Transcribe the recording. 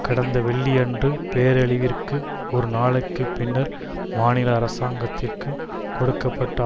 கடந்த வெள்ளியன்று பேரழிவிற்கு ஒரு நாளைக்கு பின்னர் மாநில அரசாங்கத்திற்கு கொடுக்க பட்ட